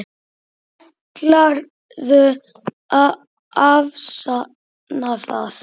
Ætlarðu að afsanna það?